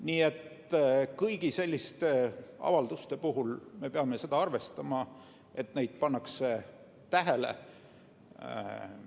Nii et kõigi selliste avalduste puhul me peame arvestama, et neid pannakse tähele.